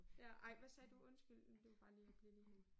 Ja ej hvad sagde du undskyld blev bare lige blev lige